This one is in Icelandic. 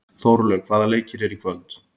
Þórlaug, hvaða leikir eru í kvöld?